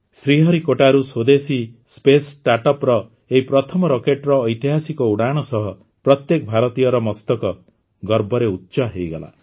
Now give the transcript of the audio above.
ଶ୍ରୀହରିକୋଟାରୁ ସ୍ୱଦେଶୀ space startup ର ଏହି ପ୍ରଥମ ରକେଟ୍ର ଐତିହାସିକ ଉଡ଼ାଣ ସହ ପ୍ରତ୍ୟେକ ଭାରତୀୟର ମସ୍ତକ ଗର୍ବରେ ଉଚ୍ଚ ହୋଇଗଲା